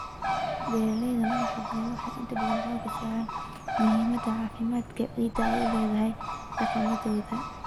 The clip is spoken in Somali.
Beeralayda madaxbannaan waxay inta badan xoogga saaraan muhiimadda caafimaadka ciidda ay u leedahay dhaqamadooda.